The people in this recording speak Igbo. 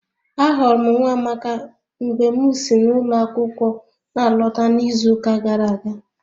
Ahụrụ m Nwamaka mgbe m si n'ụlọ akwụkwọ na alọta n'izuụka gara aga